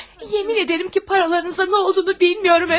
Yemin edirəm ki, paralarınıza nə olduğunu bilmirəm.